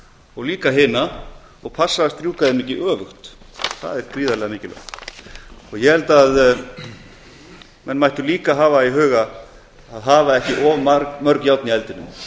og líka hina og passa að strjúka þeim ekki öfugt það er gríðarlega mikilvægt ég held að menn mættu líka hafa í huga að hafa ekki of mörg járn í eldinum